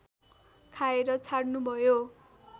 खाएर छाड्नुभयो